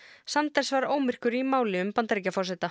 Sanders var ómyrkur í máli um Bandaríkjaforseta